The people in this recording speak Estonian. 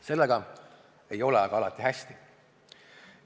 Sellega ei ole aga alati hästi.